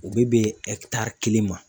U be bɛn kelen ma.